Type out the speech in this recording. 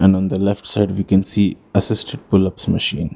On the left side we can see assisted pull ups machine.